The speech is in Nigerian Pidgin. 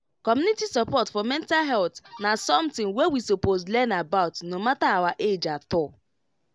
community support for mental health na something wey we suppose learn about no matter our age at all